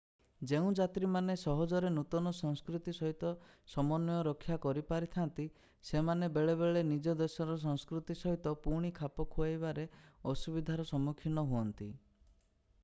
ଯେଉଁ ଯାତ୍ରୀମାନେ ସହଜରେ ନୂତନ ସଂସ୍କୃତି ସହିତ ସମନ୍ୱୟ ରକ୍ଷା କରିପାରିଥାନ୍ତି ସେମାନେ ବେଳେବେଳେ ନିଜ ଦେଶର ସଂସ୍କୃତି ସହିତ ପୁଣି ଖାପ ଖୁଆଇବାରେ ଅସୁବିଧାର ସମ୍ମୁଖୀନ ହୁଅନ୍ତି